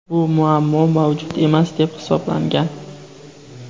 Bu muammo mavjud emas deb hisoblangan.